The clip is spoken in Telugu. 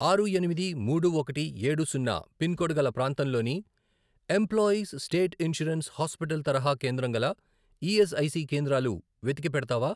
ఆరు, ఎనిమిది, మూడు, ఒకటి, ఏడు, సున్నా, పిన్ కోడ్ గల ప్రాంతంలోని ఎంప్లాయీస్ స్టేట్ ఇన్షూరెన్స్ హాస్పిటల్ తరహా కేంద్రం గల ఈఎస్ఐసి కేంద్రాలు వెతికి పెడతావా?